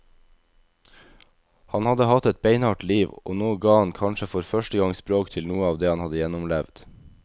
Han hadde hatt et beinhardt liv, og nå ga han kanskje for første gang språk til noe av det han hadde gjennomlevd.